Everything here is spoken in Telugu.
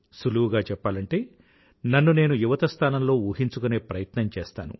సులువుగా చెప్పాలంటే నన్ను నేను యువత స్థానంలో ఊహించుకునే ప్రయత్నం చేస్తాను